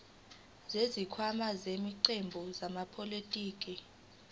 zesikhwama samaqembu ezepolitiki